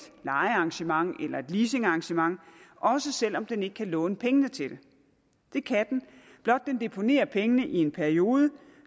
lejearrangement eller et leasingarrangement også selv om den ikke kan låne pengene til det det kan den blot den deponerer pengene i en periode